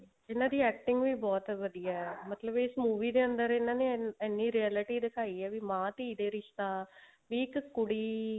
ਇਹਨਾ ਦੀ acting ਵੀ ਬਹੁਤ ਵਧੀਆ ਹੈ ਮਤਲਬ ਇਸ movie ਦੇ ਅੰਦਰ ਇਹਨਾ ਨੇ ਇੰਨੀ reality ਦਿਖਾਈ ਹੈ ਵੀ ਮਾਂ ਧੀ ਦਾ ਰਿਸ਼ਤਾ ਵੀ ਇੱਕ ਕੁੜੀ